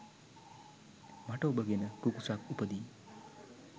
මට ඔබ ගැන කුකුසක් උපදී.